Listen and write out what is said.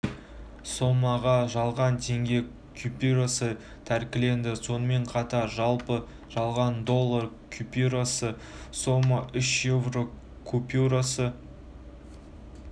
сомаға жалған теңге купюрасы тәркіленді сонымен қатар жалпы жалған доллар купюросы сома үш еуро купюросы